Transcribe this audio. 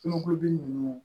Sunɔgɔ bin nunnu